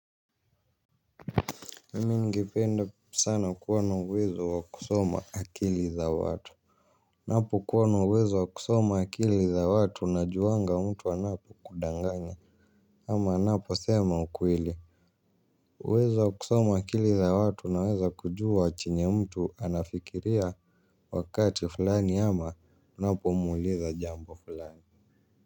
Mimi ningependa sana kua na uwezo wa kusoma akili za watu. Napo kuwa na uwezo wa kusoma akili za watu na juanga mtu anapo kudanganye ama anapo sema ukweli. Uwezo wa kusoma akili za watu na weza kujua chenye mtu anafikiria wakati fulani ama unapo muliza jambo fulani.